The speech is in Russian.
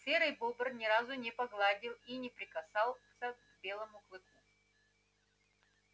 серый бобр ни разу не погладил и не прикасался к белому клыку